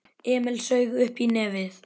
Emil saug uppí nefið.